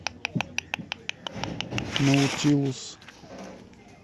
наутилус